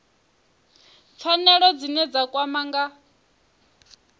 pfanelo dzine dza kwama nga